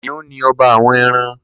Kiniùn ni ọba áwọ̀n ẹ̀rãn